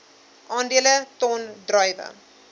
aandele ton druiwe